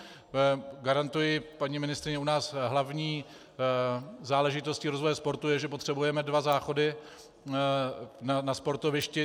Garantuji, paní ministryně, u nás hlavní záležitostí rozvoje sportu je, že potřebujeme dva záchody na sportovišti.